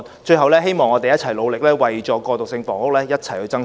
最後，希望我們努力為過渡性房屋，一同爭取。